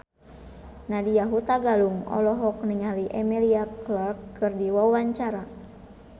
Nadya Hutagalung olohok ningali Emilia Clarke keur diwawancara